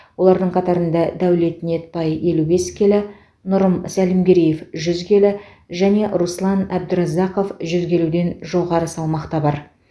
олардың қатарында дәулет ниетбай елу бес келі нұрым сәлімгереев жүз келі және руслан әбдіразақов жүз келіден жоғары салмақта бар